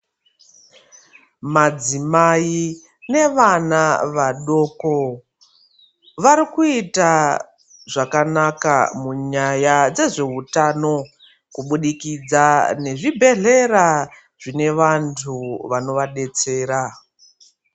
Madzimai nevana vadoko varikuita zvakanaka munyaya dzezveutano kubudikidza nezvibhedhlera zvinevantu vanoadetsera .